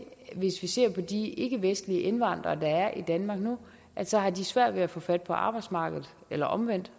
hvis vi ser på de ikkevestlige indvandrere der er i danmark nu at så har de svært ved at få fat på arbejdsmarkedet eller omvendt